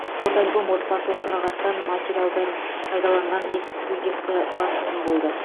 фотоальбом отбасылық мұрағаттан материалдардан пайдаланған эксклюзивті басылым болды